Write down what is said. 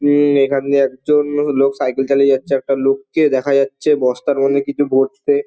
উমমম এখন দিয়ে একজন লোক সাইকেল চাইলে যাচ্ছে একটা লোককে দেখা যাচ্ছে বস্তার মধ্যে কিছু ভরছে ।